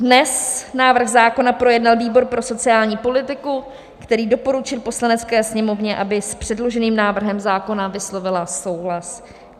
Dnes návrh zákona projednal výbor pro sociální politiku, který doporučil Poslanecké sněmovně, aby s předloženým návrhem zákona vyslovila souhlas.